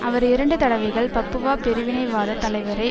அவர் இரண்டு தடவைகள் பப்புவா பிரிவினைவாதத் தலைவரை